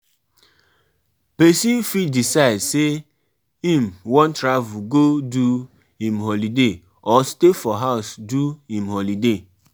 Protection rituals dey help pipo feel secure in dia daily lives.